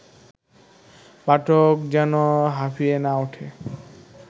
পাঠক যেন হাঁফিয়ে না ওঠে